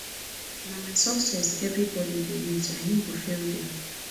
na my success everybodi dey wait i no go fail dem